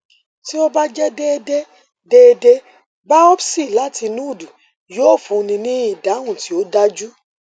ti o ba jẹ deede deede biopsy lati nodu yoo funni ni idahun ti o daju